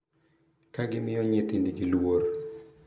Ka gimiyo nyithindgi luor, .